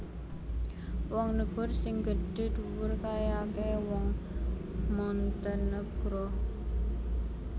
Wong negor sing gedhe dhuwur kae akehe wong Montenegro